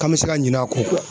K'an me se ka ɲinɛ a kɔ kuwa